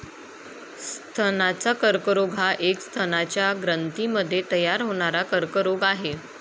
स्तनाचा कर्करोग हा एक स्तनाच्या ग्रंथींमध्ये तयार होणारा कर्करोग आहे.